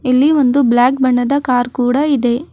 ಇಲ್ಲಿ ಒಂದು ಬ್ಲಾಕ್ ಬಣ್ಣದ ಕಾರ್ ಕೂಡ ಇದೆ.